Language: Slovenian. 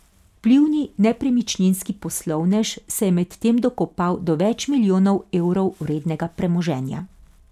Vplivni nepremičninski poslovnež se je medtem dokopal do več milijonov evrov vrednega premoženja.